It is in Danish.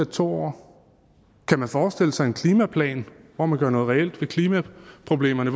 to år kan man forestille sig en klimaplan hvor man gør noget reelt ved klimaproblemerne